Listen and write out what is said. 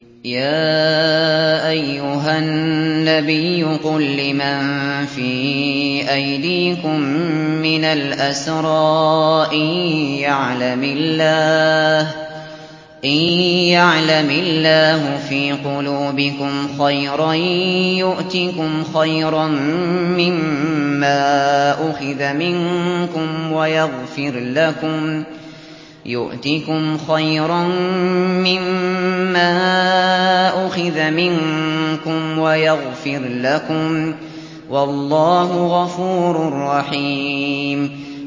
يَا أَيُّهَا النَّبِيُّ قُل لِّمَن فِي أَيْدِيكُم مِّنَ الْأَسْرَىٰ إِن يَعْلَمِ اللَّهُ فِي قُلُوبِكُمْ خَيْرًا يُؤْتِكُمْ خَيْرًا مِّمَّا أُخِذَ مِنكُمْ وَيَغْفِرْ لَكُمْ ۗ وَاللَّهُ غَفُورٌ رَّحِيمٌ